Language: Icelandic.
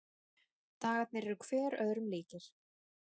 Dagarnir eru hver öðrum líkir.